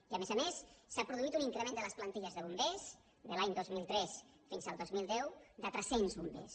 i a més a més s’ha produït un increment de les plantilles de bombers de l’any dos mil tres fins al dos mil deu de tres cents bombers